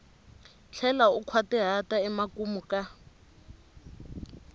tlhela u nkhwatihata emakumu ka